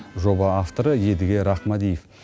жоба авторы едіге рахмадиев